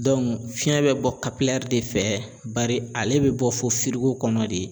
fiɲɛ bɛ bɔ de fɛ bari ale bɛ bɔ fo firiko kɔnɔ de.